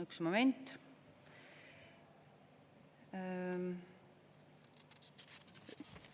Üks moment.